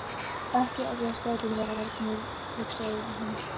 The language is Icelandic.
Allar tilfinningar, skoðanir, viðhorf, lífsstefna hafa brenglast og sýkst.